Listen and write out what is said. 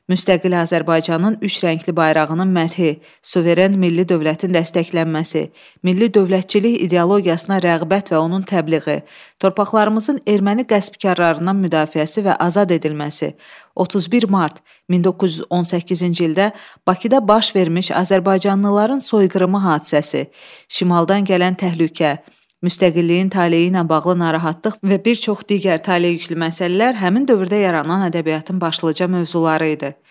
Müstəqil Azərbaycanın üç rəngli bayrağının məthi, suveren milli dövlətin dəstəklənməsi, milli dövlətçilik ideologiyasına rəğbət və onun təbliği, torpaqlarımızın erməni qəsbkarlarından müdafiəsi və azad edilməsi, 31 mart 1918-ci ildə Bakıda baş vermiş azərbaycanlıların soyqırımı hadisəsi, Şimaldan gələn təhlükə, müstəqilliyin taleyi ilə bağlı narahatlıq və bir çox digər taleyüklü məsələlər həmin dövrdə yaranan ədəbiyyatın başlıca mövzuları idi.